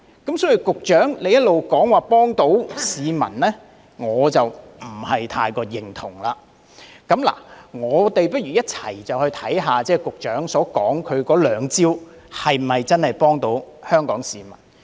因此，對於局長一直指這些已可幫助市民，我不太認同，就讓我們一起看看局長所說的兩招是否真的可以幫助市民。